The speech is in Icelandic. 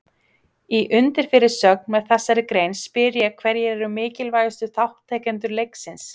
Í undirfyrirsögn með þessari grein spyr ég hverjir eru mikilvægustu þátttakendur leiksins?